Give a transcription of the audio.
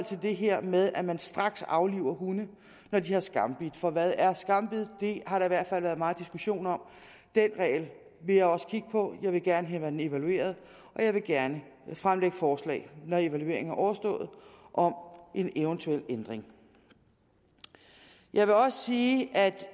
det her med at man straks afliver hunde når de har skambidt for hvad er skambid det har der i hvert fald været meget diskussion om den regel vil jeg også kigge på jeg vil gerne have den evalueret og jeg vil gerne fremsætte forslag når evalueringen er overstået om en eventuel ændring jeg vil også sige at